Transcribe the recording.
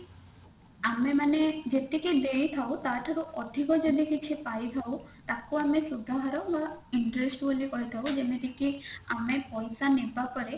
ଆମେମାନେ ଯେତିକି ଦେଇଥାଉ ତା ଠାରୁ ଅଧିକ ଯଦି କିଛି ପାଇଥାଉ ତାକୁ ଆମେ ସୁଧହାର ବା interest ବୋଲି କହିଥାଉ ଯେମତି କି ଆମେ ପଇସା ନେବା ପରେ